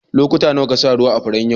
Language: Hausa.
Lokuta nawa ka sa ruwa a'furen yau?